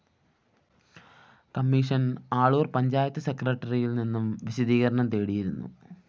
commission Aloor‍ panchayat സെക്രട്ടറിയില്‍ നിന്നും വിശദീകരണം തേടിയിരുന്നു